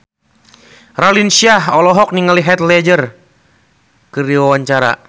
Raline Shah olohok ningali Heath Ledger keur diwawancara